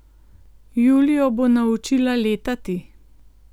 Julijo bo naučila letati.